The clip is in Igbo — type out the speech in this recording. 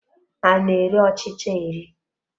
A na-eri ọchịcha eri.